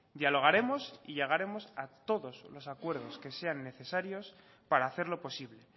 dialogaremos y llegaremos a todos los acuerdos que sean necesarios para hacerlo posible